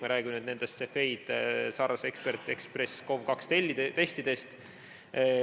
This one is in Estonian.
Me räägime nendest Cepheid Xpress SARS-CoV-2 testidest.